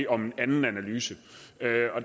om en anden analyse